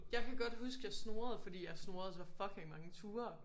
Jeg kan godt huske jeg snurrede fordi jeg snurrede så fucking mange ture